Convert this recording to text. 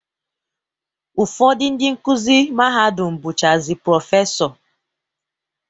Ụfọdụ ndị nkuzi mahadum bụchazi Prọfesọ